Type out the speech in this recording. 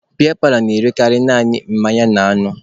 Biya paalọ na-erekarị naanị mmanya na anụ